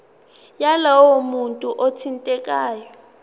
yalowo muntu othintekayo